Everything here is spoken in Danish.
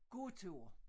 Gåtur